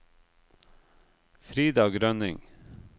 Frida Grønning